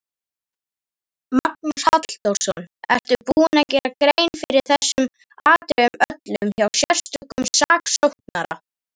Magnús Halldórsson: Ertu búinn að gera grein fyrir þessum atriðum öllum hjá sérstökum saksóknara?